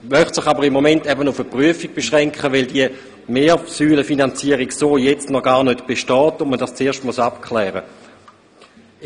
Im Moment möchte er sich jedoch auf eine Prüfung beschränken, weil diese Mehrsäulenfinanzierung so derzeit noch gar nicht besteht und man dies zuerst abklären muss.